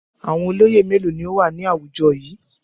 Àwọn olóyè mélòó ni ó wà ní àwùjọ yìí?